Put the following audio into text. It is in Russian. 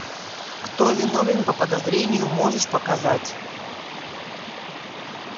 кто виновен по подозрению можешь показать